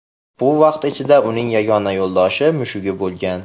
Bu vaqt ichida uning yagona yo‘ldoshi mushugi bo‘lgan.